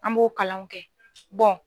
An b'o kalanw kɛ bɔn